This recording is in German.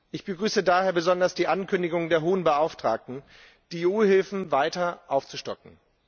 Ich begrüße daher besonders die Ankündigung der Hohen Vertreterin, die EU Hilfen weiter aufzustocken.